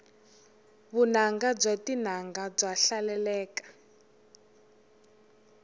vunanga bya tinanga bya hlaleleka